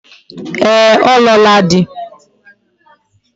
Ee, o luola di